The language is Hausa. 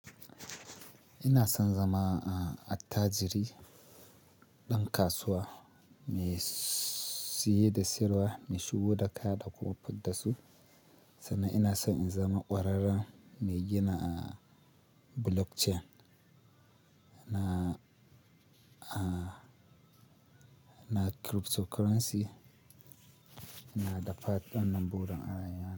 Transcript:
Ina son zama, uh, attajiri ɗan kasuwa mai siye da siyarwa, mai shigo da kaya da kuma fitar su. Sannan ina so in zama ƙwararren mai gina, uh, blockchain na, uh, na cryptocurrency, na da fatan wannan burin.